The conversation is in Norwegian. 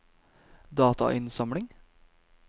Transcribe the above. datainnsamling